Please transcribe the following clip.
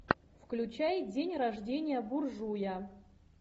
включай день рождения буржуя